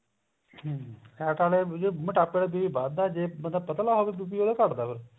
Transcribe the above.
ਹਮ ਹੈ ਤਾਂ ਮੋਟਾਪੇ ਦਾ BP ਵੱਧ ਦਾ ਜੇਪਤਲਾ ਹੋਵੇ ਬੰਦਾ ਉਹਦਾ ਘਟ ਦਾ ਫ਼ੇਰ